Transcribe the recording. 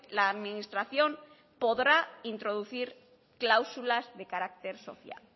la administración podrá introducir cláusulas de carácter social